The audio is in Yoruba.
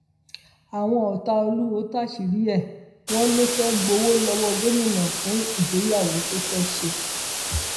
àwọn ọtá olùwọọ táṣìírí ẹ wọn ló fẹẹ gbowó lọwọ gómìnà fún ìgbéyàwó tó fẹẹ ṣe